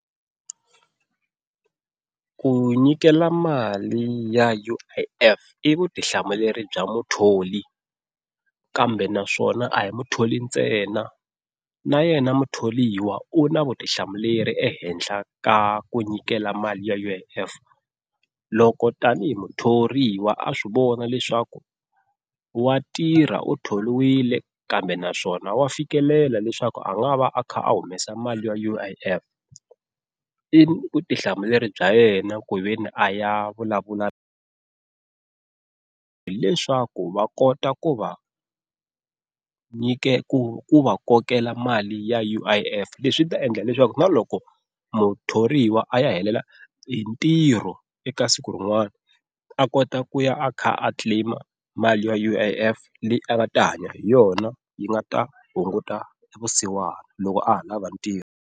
Ku nyikela mali ya U_I_F i vutihlamuleri bya muthori kambe naswona a hi mutholi ntsena na yena mutholiwa u na vutihlamuleri ehenhla ka ku nyikela mali ya U_I_F loko tanihi muthoriwa a swi vona leswaku wa tirha u tholiwile kambe naswona wa fikelela leswaku a nga va a kha a humesa mali ya U_I_F, i vutihlamuleri bya yena ku ve ni a ya vulavula hileswaku va kota ku va ku va kokela mali ya U_I_F leswi ta endla leswaku na loko muthoriwa a ya helela hi ntirho eka siku rin'wana a kota ku ya a kha a claim mali ya U_I_F leyi a nga ta hanya hi yona yi nga ta hunguta vusiwana loko a ha lava ntirho.